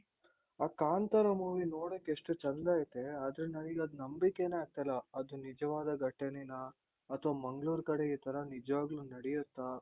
ಆ ಕಾಂತಾರ movie ನೋಡೋಕೆಷ್ಟು ಚೆಂದ ಐತೆ ಆದ್ರೆ ನನಿಗದು ನಂಬಿಕೆನೆ ಆಗ್ತಾ ಇಲ್ಲ ಅದು ನಿಜವಾದ ಘಟನೆನಾ ಅಥವಾ ಮಂಗಳೂರ್ ಕಡೆ ಈ ತರ ನಿಜ್ವಾಗ್ಲೂ ನಡಿಯುತ್ತಾ?